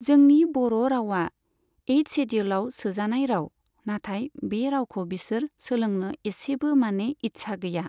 जोंनि बर' रावआ एइट सेडिउलआव सोजानाय राव, नाथाय बे रावखौ बिसोर सोलोंनो इसेबो माने इच्चा गैया।